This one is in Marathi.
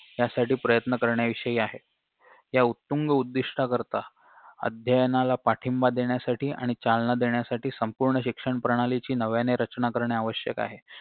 यासाठी प्रयत्न करण्याविषयी आहे या उत्तुंग उद्दिष्टाकरता अध्ययनाला पाठिंबा देण्यासाठी आणि चालना देण्यासाठी संपूर्ण शिक्षण प्रणालीची नव्याने रचना करणे आवश्यक आहे